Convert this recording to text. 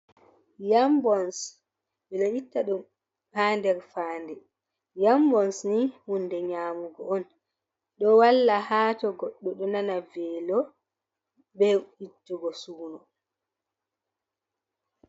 Yaam bons, ɓe ɗo itta ɗum haa nder fayannde. Yaam bons ni huunde nyaamugo on ɗo walla haa to goɗɗo ɗo nana veelo, be ittugo suuno.